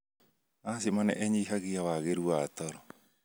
Asthma nĩ ĩnyihagia wagĩru wa toro.